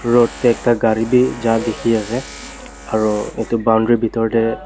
aru yate ekta gari bi ja dikhi ase aro etu boundary bitor teh.